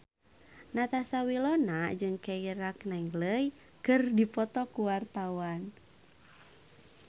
Natasha Wilona jeung Keira Knightley keur dipoto ku wartawan